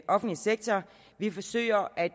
offentlige sektor vi forsøger at